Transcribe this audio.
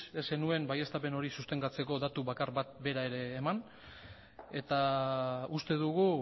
ez zenuen baieztapen hori sostengatzeko datu bakar bat bera ere eman eta uste dugu